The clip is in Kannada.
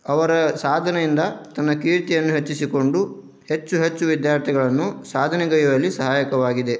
ಅವರ ಸಾಧನೆಯಿಂದ ತನ್ನ ಕೀರ್ತಿಯನ್ನ ಹೆಚ್ಚಿಸಿಕೊಂಡು ಹೆಚ್ಚು ಹೆಚ್ಚು ವಿದ್ಯಾರ್ಥಿಗಳನ್ನು ಸಾಧನೆಗೆಯುವಲ್ಲಿ ಸಹಾಯಕವಾಗಿದೆ.